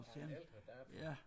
Af ældre dato